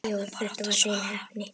Já, þetta var hrein heppni.